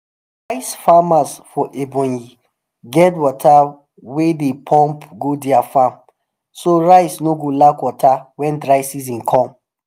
rice farmers for ebonyi get water way dey pump go their farm so rice no go lack water when dry season come.